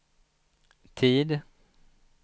tid